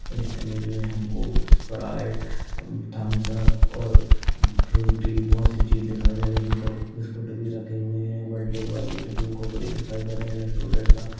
इस इमेज मे हमको स्प्राइट थम्स अप और फ्रूटी बहोत सी चीज दिखाई दे रही है इसमे को बिस्कुट भी रखे हुये है बर्थडे वाली भी रखी हुई है कोकोनिन दिखाई दे रहे है रेस्टूरेन्ट का।